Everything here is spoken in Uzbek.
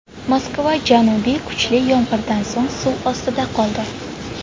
Moskva janubi kuchli yomg‘irdan so‘ng suv ostida qoldi .